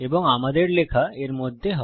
এবং আমাদের লেখা এর মধ্যে হয়